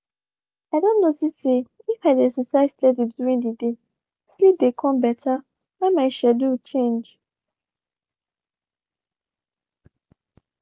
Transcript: i don notice say if i dey exercise steady during the day sleep dey come better when my schedule change.